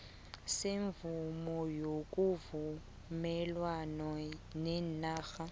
semvumo yokuvumelwana kweenarha